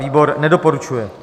Výbor nedoporučuje.